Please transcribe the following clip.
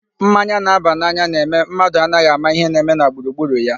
Mmanya na-aba n'anya na-eme mmadụ anaghị ama ihe na-eme na gburugburu ya.